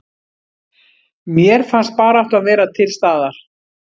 Mér fannst baráttan vera til staðar